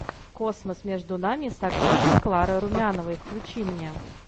космос между нами с актрисой кларой румяновой включи мне